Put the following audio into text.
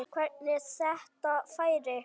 Hvernig þetta færi.